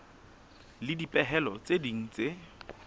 le dipehelo tse ding tse